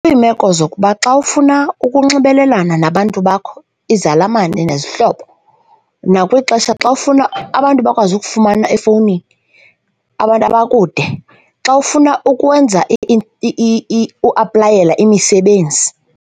Kwiimeko zokuba xa ufuna ukunxibelelana nabantu bakho, izalamane nezihlobo. Nakwixesha xa ufuna abantu bakwazi ukufumana efowunini, abantu abakude, xa ufuna ukwenza uaplayele imisebenzi.